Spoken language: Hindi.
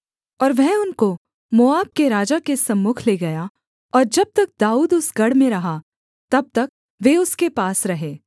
और वह उनको मोआब के राजा के सम्मुख ले गया और जब तक दाऊद उस गढ़ में रहा तब तक वे उसके पास रहे